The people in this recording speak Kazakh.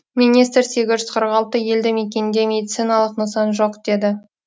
министр сегіз жүз қырық алты елді мекенде медициналық нысан жоқ деді